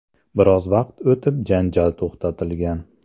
Biroz vaqt o‘tib janjal to‘xtatilgan.